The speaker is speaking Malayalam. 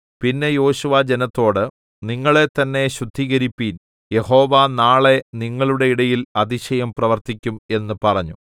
പിന്നെ യോശുവ ജനത്തോട് നിങ്ങളെത്തന്നെ ശുദ്ധീകരിപ്പീൻ യഹോവ നാളെ നിങ്ങളുടെ ഇടയിൽ അതിശയം പ്രവർത്തിക്കും എന്ന് പറഞ്ഞു